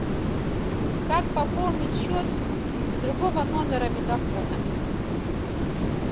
как пополнить счет другого номера мегафона